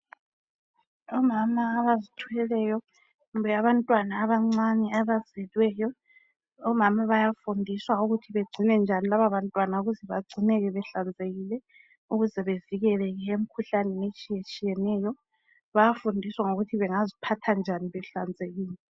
Omama abazithelweyo kumbe abantwana abancane abazelweyo omama bayafundiswa ukuthi begcine njani labantwana ukuze bagcineke behlanzekile ukuze bevileke emkhuhlaneni etshiyetshiyeneyo bayafundiswa ngokuthi bengaziphatha njani behlanzekile.